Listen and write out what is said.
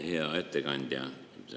Hea ettekandja!